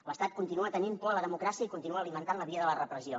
l’estat continua tenint por a la democràcia i continua alimentant la via de la repressió